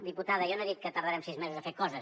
diputada jo no he dit que tardarem sis mesos a fer coses